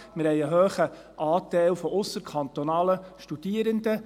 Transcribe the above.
Wir haben einen hohen Anteil ausserkantonaler Studierender.